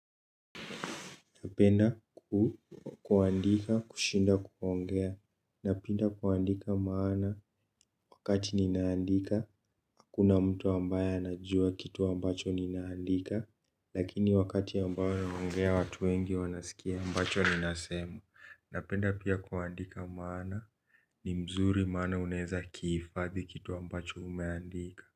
Napenda kuandika kushinda kuongea. Napenda kuandika maana wakati ninaandika. Hakuna mtu ambaye anajua kitu ambacho ninaandika. Lakini wakati ambayo naongea watu wengi wanasikia ambacho ninasema. Napenda pia kuandika maana ni mzuri maana unaeza kihifadhi kitu ambacho umeandika.